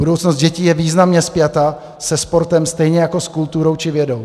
Budoucnost dětí je významně spjata se sportem, stejně jako s kulturou či vědou.